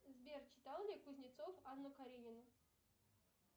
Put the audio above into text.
сбер читал ли кузнецов анну каренину